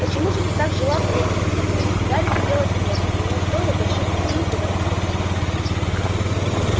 почему же ты так желал встретиться со мной гарри кипел от гнева и ему стоило больших усилий говорить спокойно